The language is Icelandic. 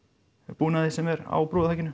búnaði sem er á